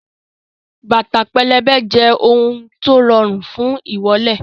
Bàtà pẹlẹbẹ jẹ́ ohun tó rọrùn fún ìwọ́lẹ̀